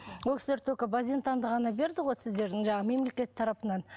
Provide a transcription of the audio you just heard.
ол кісілер только базентанды ғана берді ғой сіздердің жаңағы мемлекет тарапынан